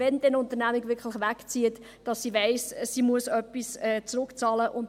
Wenn eine Unternehmung wirklich wegzieht, weiss sie dann, dass sie etwas zurückbezahlen muss?